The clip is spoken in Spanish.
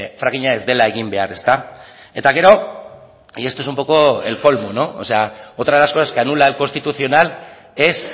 frackinga ez dela egin behar ezta eta gero y esto es un poco el colmo o sea otra de las cosas que anula el constitucional es